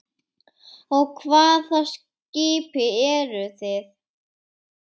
Á hvaða skipi eru þið?